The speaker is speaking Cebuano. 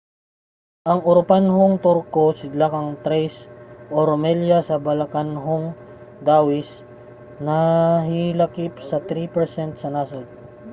ang uropanhong turko sidlakang thrace o rumelia sa balkanhong dawis nahilakip sa 3% sa nasod